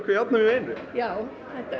járnum í einu já